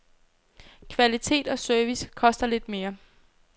Kvalitet og service koster lidt mere.